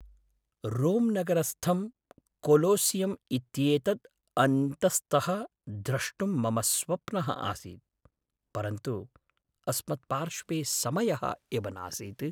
Rome नगरस्थं Colosseum इत्येतद् अन्तस्तः द्रष्टुं मम स्वप्नः आसीत्, परन्तु अस्मत्पार्श्वे समयः एव नासीत्।